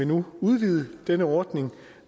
nu udvide denne ordning